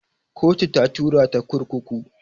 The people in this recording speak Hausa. Kotu ta tura ta kurkuku